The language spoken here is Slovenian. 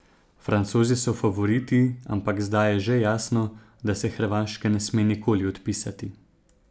Francozi so favoriti, ampak zdaj je že jasno, da se Hrvaške ne sme nikoli odpisati.